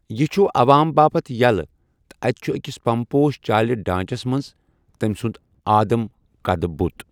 یہِ چھُ عوام باپتھ یلہٕ تہٕ اتہِ چھُ اكِس پمپوش چالہِ ڈانچس منز تمہِ سُند آدم قدٕ بُت۔